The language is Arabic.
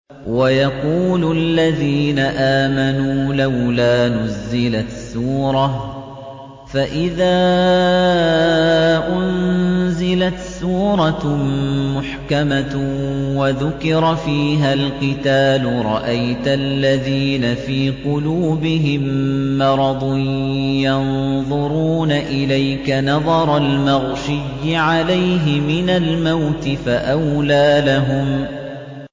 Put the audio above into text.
وَيَقُولُ الَّذِينَ آمَنُوا لَوْلَا نُزِّلَتْ سُورَةٌ ۖ فَإِذَا أُنزِلَتْ سُورَةٌ مُّحْكَمَةٌ وَذُكِرَ فِيهَا الْقِتَالُ ۙ رَأَيْتَ الَّذِينَ فِي قُلُوبِهِم مَّرَضٌ يَنظُرُونَ إِلَيْكَ نَظَرَ الْمَغْشِيِّ عَلَيْهِ مِنَ الْمَوْتِ ۖ فَأَوْلَىٰ لَهُمْ